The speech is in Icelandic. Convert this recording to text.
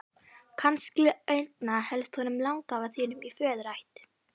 Kannski einna helst honum langafa þínum í föðurætt.